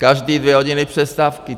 Každé dvě hodiny přestávky.